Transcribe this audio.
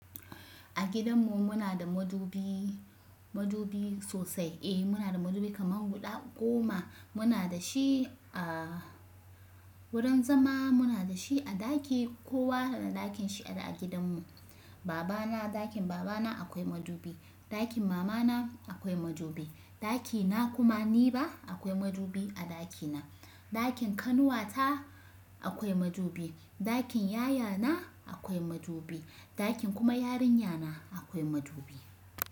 A gidanmu muna da madubi, madubi sosai. Eh muna da madubi kaman guda goma. Muna da shi a wurin zama, muna da shi a ɗaki kowa na ɗakin shi a gidanmu. Baba na ɗakin baba na akwai madubi, ɗakin mama na akwai madubi, ɗaki na kuma ni ba akwai madubi a ɗaki na, ɗakin ƙanuwata akwai madubi, ɗakin yaya na akwai madubi, ɗakin kuma yarinya na akwai madubi.